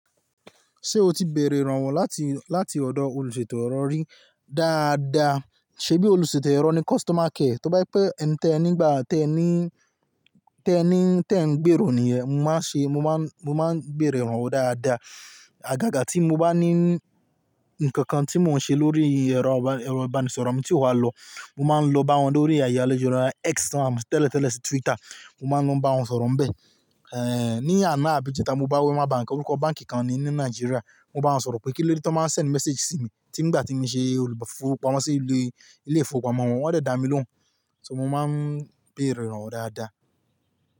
Ṣé o ti bèrè ìrànwọ́ láti, láti ọ̀dọ̀ olùṣèlò ẹ̀rọ rí dáadáa? Ṣèbí olùṣèlò ẹ̀rọ ni customer care? Tí ó bá pẹ́ ń tẹ nígbà tẹ ní, tẹ ní, tẹ ń gbèrò nìyẹn. Mo máa ń ṣe, mo máa ń, mo máa ń bèrè ìrànwọ́ dáadáa. Àgàgà tí mo bá ní ǹkan kan tí mò ń ṣe lórí ẹ̀rọ ìbánisọ̀rọ̀ mi tí kò ba lọ, mo máa ń lọ bá wọn lórí ayálẹ́jọ́ ọ̀rọ̀ náà. X tẹ́lẹ̀ tẹ́lẹ̀ sí Twitter, mo máa ń lọ bá wọn sọ̀rọ̀ bẹ́ẹ̀. Èéh, ní àná bí ìjẹta mo bá Wema Bank, orúkọ báǹkì kan ni ní Nàìjíríà, mo bá wọn sọ̀rọ̀ pé kí lóde tó máa ń ṣe ń mẹséèjì sí mi nígbà tí mo ṣe olùfọwọ́pamọ́ sí ilé ìfowópamọ́ wọn, wọ́n dà mí lóhùn. So mo máa ń bèrè ìrànwọ́ dáadáa.